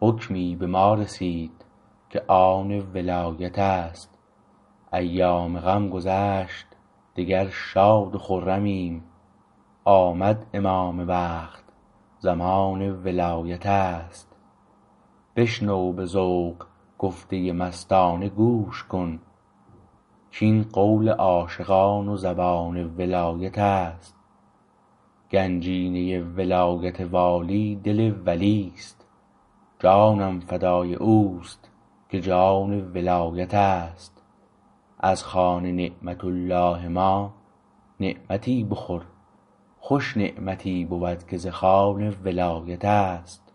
حکمی به ما رسید که آن ولایتست ایام غم گذشت دگر شاد و خرمیم آمد امام وقت زمان ولایتست بشنو به ذوق گفته مستانه گوش کن کین قول عاشقان و زبان ولایتست گنجینه ولایت والی دل ولیست جانم فدای اوست که جان ولایتست از خوان نعمت الله ما نعمتی بخور خوش نعمتی بود که ز خوان ولایتست